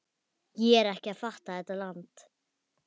Ég er ekki að fatta þetta land.